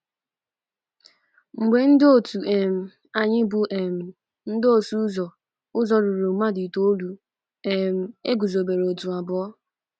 Mgbe ndị otu um anyị bụ́ um ndị ọsụ ụzọ ụzọ ruru mmadụ itoolu, um e guzobere otu abụọ.